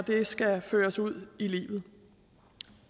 det skal føres ud i livet